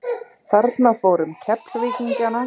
Þarna fór um Keflvíkingana.